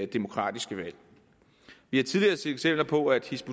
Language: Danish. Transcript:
demokratiske valg vi har tidligere set eksempler på at hizb